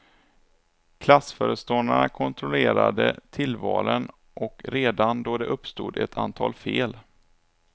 Klassföreståndarna kontrollerade tillvalen och redan då uppstod ett antal fel.